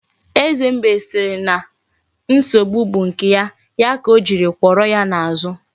Eze mbe si na nsogbu bu nke ya, ya ka Ojiri kworo ya n'azu.